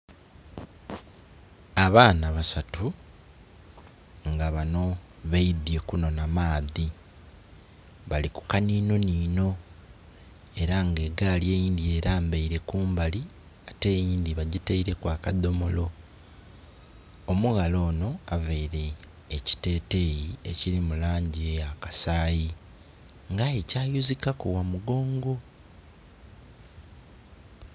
Abaana basatu nga banho baidye kunhonha maadhi balikukanhinhonhinho eranga egali eindhi erambere kumbali ate eindhi bagyitereku akadhomolo omughala onho aveire kyiteteyi ekyirimulangyi eyakasayi nga'ye kyayuzikaku ghamugongo